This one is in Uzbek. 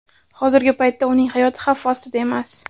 Hozirgi paytda uning hayoti xavf ostda emas.